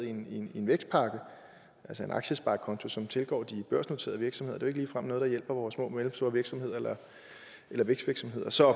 en vækstpakke altså en aktiesparekonto som tilgår de børsnoterede virksomheder det er ligefrem noget der hjælper vores små og mellemstore virksomheder eller vækstvirksomheder så